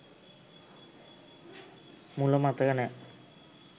මුල මතක නෑ.